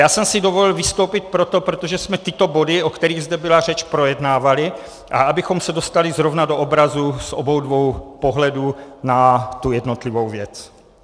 Já jsem si dovolil vystoupit proto, protože jsme tyto body, o kterých zde byla řeč, projednávali, a abychom se dostali zrovna do obrazu z obou dvou pohledů na tu jednotlivou věc.